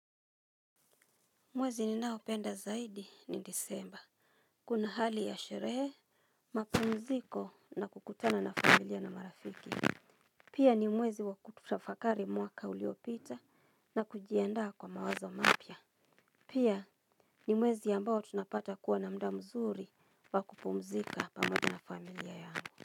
Mwezi ninao penda zaidi ni disemba. Kuna hali ya sherehe, mapumziko na kukutana na familia na marafiki. Pia ni mwezi wa kutafakari mwaka uliopita na kujiandaa kwa mawazo mapya. Pia ni mwezi ambayo tunapata kuwa na muda mzuri wa kupumzika pamoja na familia yangu.